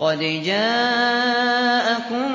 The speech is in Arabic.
قَدْ جَاءَكُم